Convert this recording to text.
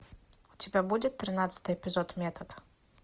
у тебя будет тринадцатый эпизод метод